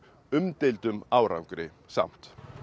umdeildum árangri samt